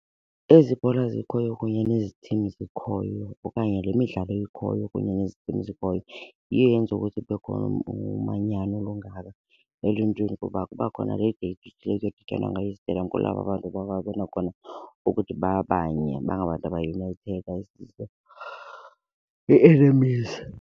Ezi bhola zikhoyo kunye nezitim zikhoyo okanye le midlalo ikhoyo kunye nezitim zikhoyo yiyo eyenza ukuthi kube khona umanyano olungaka eluntwini. Kuba kuba khona le date kuye kuyodityanwa ngayo kulapho abantu bababona khona ukuthi babanye bangabantu abanye ii-enemies.